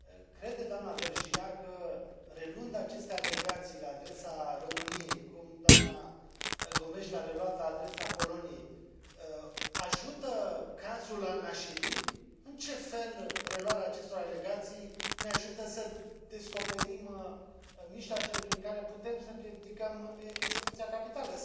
Crede doamna Vergiat că, reluând aceste alegații la adresa României, cum doamna Gomes le a reluat la adresa Poloniei, ajută cazul al Nashiri? În ce fel reluarea acestor alegații ne ajută să descoperim mijloacele prin care putem să împiedicăm execuția capitală?